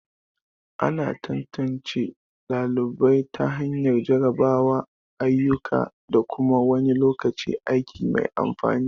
Ana tantance ɗalibai ta hanyar jarrabawa, ayyuka, da kuma wani lokacin aiki mai amfani.